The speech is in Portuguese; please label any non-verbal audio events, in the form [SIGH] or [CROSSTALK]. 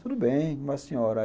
Tudo bem, [UNINTELLIGIBLE] senhora?